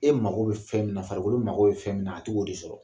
E mako bɛ fɛn min na, farikolo mako bɛ fɛn min na, a tɛ k'o de sɔrɔ.